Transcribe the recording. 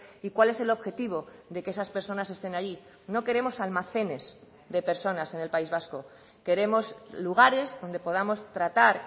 y cuál es el objetivo de que esas personas estén ahí no queremos almacenes de personas en el país vasco queremos lugares donde podamos tratar